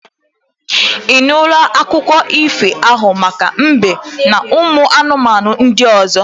I nụla akụkọ ifo ahụ maka mbe n'ụmụ anụmanụ ndị ọzọ?